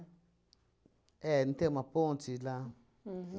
É, não tem uma ponte lá?